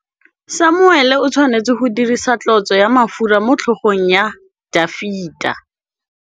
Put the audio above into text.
Samuele o tshwanetse go dirisa tlotsô ya mafura motlhôgong ya Dafita.